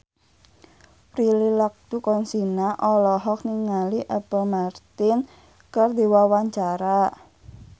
Prilly Latuconsina olohok ningali Apple Martin keur diwawancara